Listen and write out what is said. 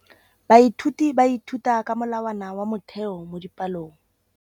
Baithuti ba ithuta ka molawana wa motheo mo dipalong.